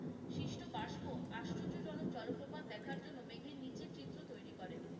সৃষ্ট বাস্প আশ্চর্য জনক জলপ্রপাত দেখার জন্য মেঘের নিচের চিত্র তৈরি করে।